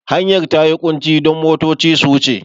Hanyar ta yi ƙunci don motoci su wuce.